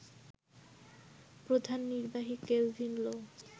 প্রধান নির্বাহী কেলভিন লো